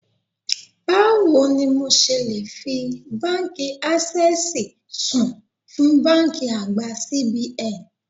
Báwo ni mo ṣe le fi Báńkì Ásẹ́sìì sùn fún báńkì àgbà CBN?